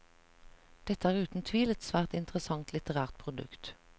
Dette er uten tvil et svært interessant litterært produkt.